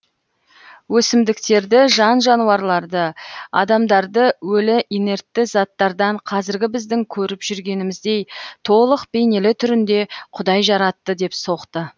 өсімдіктерді жан жануарларды адамдарды өлі инертті заттардан қазіргі біздің көріп жүргеніміздей толық бейнелі түрінде құдай жаратты деп соқты